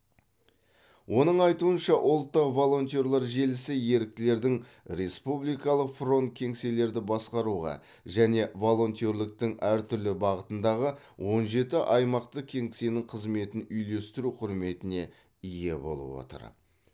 оның айтуынша ұлттық волонтерлер желісі еріктілердің республикалық фронт кеңселерді басқаруға және волонтерліктің әртүрлі бағытындағы он жеті аймақтық кеңсенің қызметін үйлестіру құрметіне ие болып отыр